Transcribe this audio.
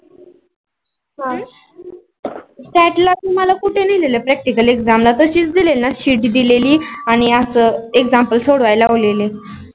catlog तुम्हाला कुठे नेलेलं practical exam मध्ये तशीच दिली न sheet दीलिलि आणी exampal सगळ्या लावलेले.